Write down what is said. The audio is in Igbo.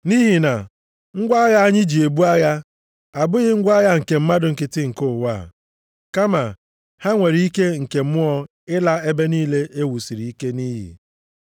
Nʼihi na ngwa agha anyị ji ebu agha, abụghị ngwa agha nke mmadụ nkịtị nke ụwa, kama ha nwere ike nke mmụọ ịla ebe niile e wusiri ike nʼiyi.